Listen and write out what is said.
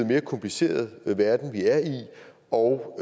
mere kompliceret verden vi er i og